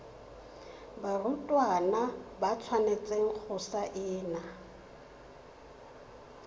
barutwana ba tshwanetse go saena